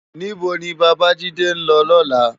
Ni bó ni Babajide n lò lòlá?